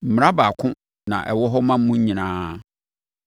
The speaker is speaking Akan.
Mmara baako na ɛwɔ hɔ ma mo nyinaa.’ ”